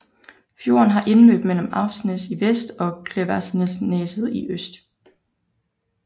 Fjorden har indløb mellem Afsnes i vest og Klevaldsneset i øst